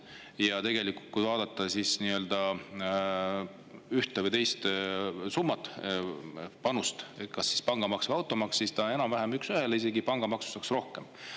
Ja tegelikult, kui vaadata ühte ja teist summat, pangamaksu ja automaksu, siis on need enam-vähem üks ühele, pangamaksust saaks isegi rohkem.